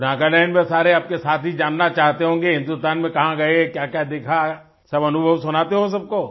तो नागालैंड में सारे आपके साथी जानना चाहते होंगे हिंदुस्तान में कहाँ गए क्याक्या देखा सब अनुभव सुनाते हो सबको